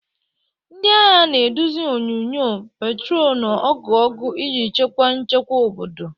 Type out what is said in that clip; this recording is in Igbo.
Ndị agha na-eduzi onyunyo, patrol na ọgụ ọgụ iji chekwa nchekwa obodo.